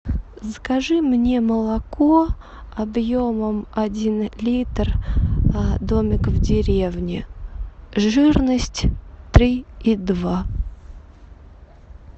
закажи мне молоко объемом один литр домик в деревне жирность три и два